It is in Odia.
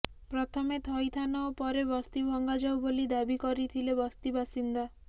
ପ୍ରଥମେ ଥଇଥାନ ଓ ପରେ ବସ୍ତି ଭଙ୍ଗାଯାଉ ବୋଲି ଦାବି କରିଥିଲେ ବସ୍ତିବାସିନ୍ଦା